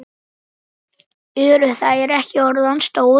Eru þær ekki orðnar stórar?